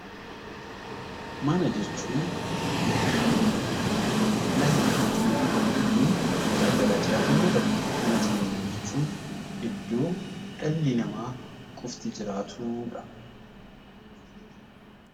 Mana jechuun iddoo dhalli namaa fi lubbu-qabeeyyiin garaagaraa jiraatan yoo tahu, mana jireenyaa jechuun iddoo dhalli namaa qofti jiraatudha.